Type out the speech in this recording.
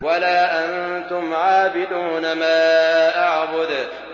وَلَا أَنتُمْ عَابِدُونَ مَا أَعْبُدُ